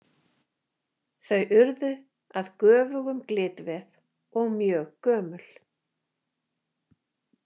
þau urðu að göfugum glitvef og mjög gömul.